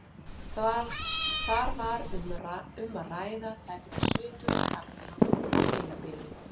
Þar var um að ræða tæplega sjötugan karlmann með heilabilun.